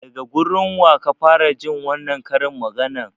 Daga gurin waka fara jin wannan karin maganar?